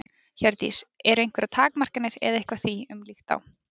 Hjördís: Eru einhverjar takmarkanir eða eitthvað því um líkt á?